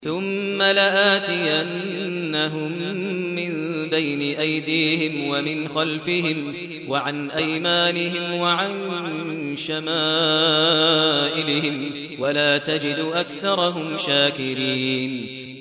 ثُمَّ لَآتِيَنَّهُم مِّن بَيْنِ أَيْدِيهِمْ وَمِنْ خَلْفِهِمْ وَعَنْ أَيْمَانِهِمْ وَعَن شَمَائِلِهِمْ ۖ وَلَا تَجِدُ أَكْثَرَهُمْ شَاكِرِينَ